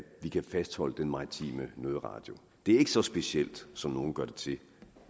vi kan fastholde den maritime nødradio det er ikke så specielt som nogle gør det til